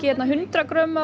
hundrað grömm af